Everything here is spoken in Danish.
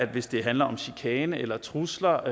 hvis det handler om chikane eller trusler